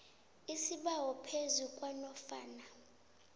isibawo phezu kwanofana